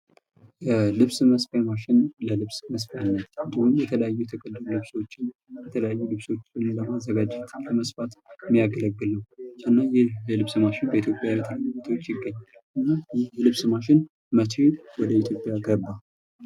ልብስ መስፊያ ማሽን ለልብስ መስፊያነት ወይም የተለያዩ ልብሶችን ለማዘጋጀት የሚያገለግል ነው። የልብስ ማሽን በየት በየት ቦታዎች ይገኛል? ወደ ኢትዮጵያስ መች ገባ?